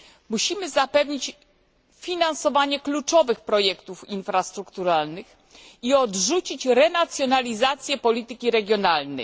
Musimy zapewnić finansowanie kluczowych projektów infrastrukturalnych i odrzucić renacjonalizację polityki regionalnej.